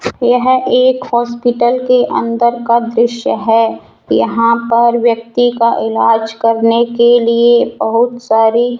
यह एक हॉस्पिटल के अंदर का दृश्य है यहां पर व्यक्ति का इलाज करने के लिए बहुत सारी --